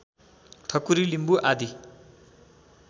ठकु्री लिम्बु आदि